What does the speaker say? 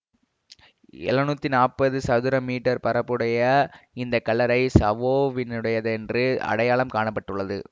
எழுநூற்றி நாற்பது சதுர மீ பரப்புடைய இந்த கல்லறை சாவோவினுடையதென்று அடையாளம் காண பட்டுள்ளது